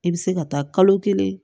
I bɛ se ka taa kalo kelen